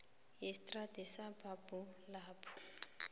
yestrada yesabhabhu lapho